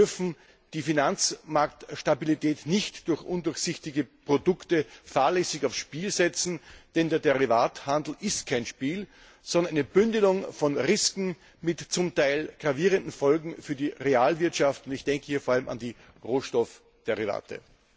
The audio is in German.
Wir dürfen die Finanzmarktstabilität nicht durch undurchsichtige Produkte fahrlässig aufs Spiel setzen, denn der Derivatehandel ist kein Spiel, sondern eine Bündelung von Risiken mit zum Teil gravierenden Folgen für die Realwirtschaften. Ich denke hier vor allem an die Rohstoffderivate.